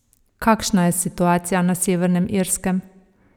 Kakšna je situacija na Severnem Irskem?